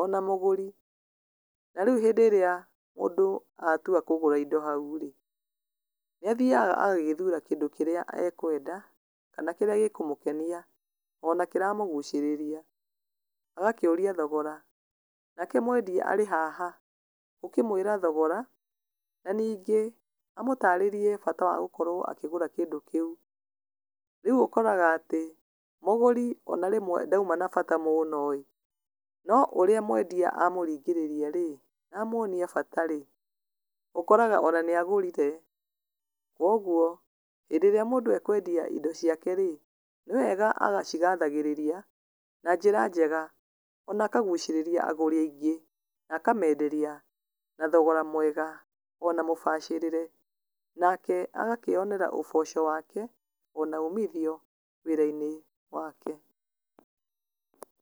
ona mũgũri, na rĩu hĩndĩ ĩrĩa mũndũ atua kũgũra indo hau-rĩ, nĩathiaga agagĩthura kĩndũ kĩrĩa ekwenda, kana kĩrĩa gĩkũmũkenia, ona kĩramũgucĩrĩria, agakĩũria thogora. Nake mwendia arĩ haha gũkĩmwĩra thogora na ningĩ amũtarĩrie bata wa gũkorwo akĩgũra kĩndũ kĩu. Rĩu ũkoraga atĩ mũgũri ona rĩmwe ndauma na bata mũno-ĩ, no ũrĩa mwendia amũringĩrĩria-rĩ, amwonia bata-rĩ, ũkoraga ona nĩagũrire. Koguo hĩndĩ ĩrĩa mũndũ ekwendia indo ciake-rĩ, nĩwega agacigathagĩrĩria na njĩra njega, ona akagucĩrĩria agũri aingĩ na akamenderia na thogora mwega ona mũbacĩrĩre, nake agakĩyonera ũboco wake ona umithio wĩra-inĩ wake.